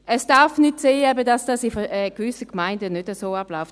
Es darf nicht sein, dass es in gewissen Gemeinden nicht so abläuft.